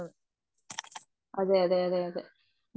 അതെയതെ അതേ മം